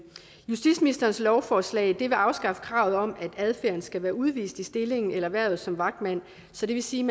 justitsministerens lovforslag vil afskaffe kravet om at adfærden skal være udvist i stillingen eller hvervet som vagtmand så det vil sige